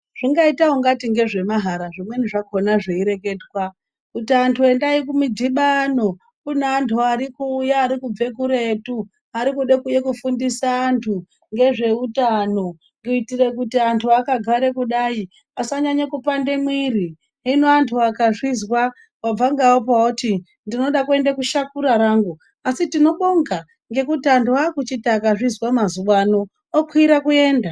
Zvingaita ungati ngezvemahara zvimweni zvakhona zveireketwa kuti antu endai kumidhibano kune antu ari kuuya ari kubve kuretu. Ari kuuye kude kufundisa antu ngezve utano kuitire kuti antu akagare kudai asanyanye kupande mwiri. Hino antu akazvizwa wabva ngeapa woti ndinoda kuende kushakura rangu, asi tinobonga ngekuti antu akuchiti akazvizwa mazuwa ano okwire kuyenda.